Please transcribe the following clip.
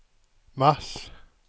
mars